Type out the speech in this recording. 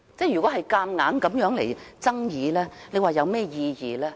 如此牽強的爭議又有何意義呢？